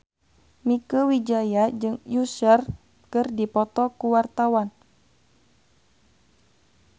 Mieke Wijaya jeung Usher keur dipoto ku wartawan